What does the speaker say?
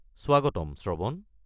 স্বাগতম, শ্ৰৱণ।